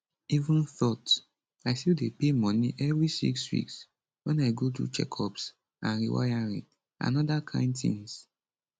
even thought i still dey pay money every six weeks wen i go do checkups and rewiring and oda kain tins